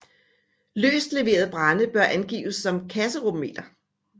Løst leveret brænde bør angives som kasserummeter